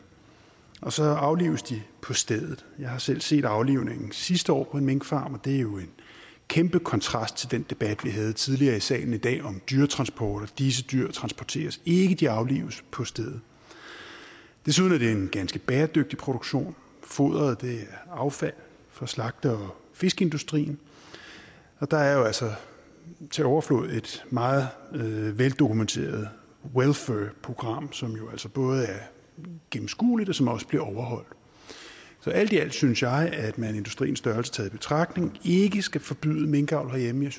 og så aflives de på stedet jeg selv set aflivning sidste år på en minkfarm og det er jo en kæmpe kontrast til den debat vi havde tidligere i salen i dag om dyretransporter disse dyr transporteres ikke de aflives på stedet desuden er det en ganske bæredygtig produktion foderet er affald fra slagte og fiskeindustrien og der er jo altså til overflod et meget veldokumenteret welfur program som jo altså både er gennemskueligt og som også bliver overholdt så alt i alt synes jeg at man industriens størrelse taget i betragtning ikke skal forbyde minkavl herhjemme